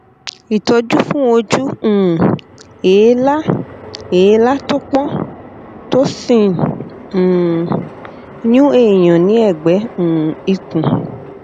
ìtọjú fún ojú um èélá èélá tó pọn tó sì ń um yún èèyàn ní ẹgbẹ um ikùn